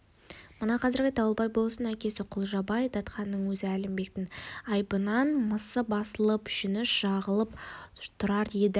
мына қазіргі дауылбай болыстың әкесі құлжабай датқаның өзі әлімбектің айбынынан мысы басылып жүні жығылып тұрар еді